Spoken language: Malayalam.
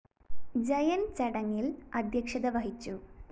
ജയന്‍ ചടങ്ങില്‍ അദ്ധ്യക്ഷത വഹിച്ചു